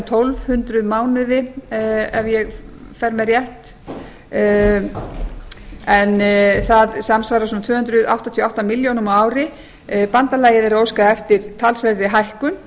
tólf hundruð mánuði ef ég fer með rétt en það samsvarar svona tvö hundruð áttatíu og átta milljónum á ári bandalagið er að óska eftir talsverðri hækkun